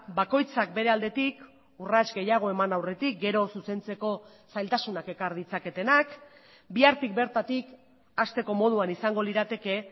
bakoitzak bere aldetik urrats gehiago eman aurretik gero zuzentzeko zailtasunak ekar ditzaketenak bihartik bertatik hasteko moduan izango lirateke